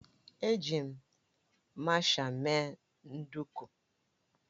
Eji m masha mee nduku